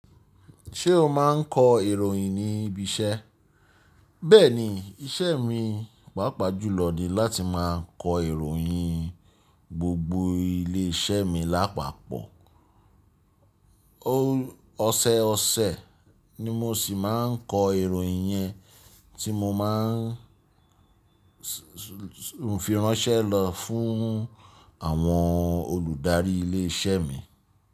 Ṣé o máa ń kọ ìròyìn ní ibi iṣẹ́? Bẹ́ẹ̀ni, iṣẹ́ mi pàápàá jùlọ ni láti máa kọ ìròyìn gbogbo ilé iṣẹ́ mi lápapọ̀. Oṣẹ ọsẹ ni mo sì máa ń kọ ìròyìn yẹn tí mo máa ń fi ránṣẹ́ lọ fún àwọn olùdarí ilé iṣẹ́ mi.